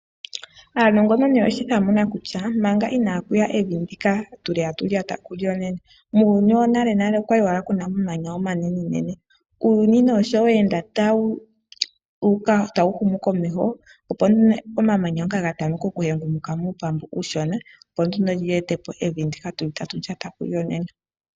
Aanongononi oyeshi thamuna kutya manga inaaku ya evi ndika tatu lyata kulyo nena, muuyuni wonalenale okwa li owala ku na omamanya omanenene. Uuyuni nduno shi we ende tawu humukomeho, opo nduno omamanya ngoka ga tameka okuhengumuka muupambu uushona, opo ge ete po evi ndyoka tatu lyata kulyo nena.